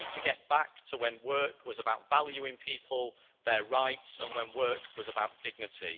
We need to get back to when work was about valuing people, their rights, and when work was about dignity.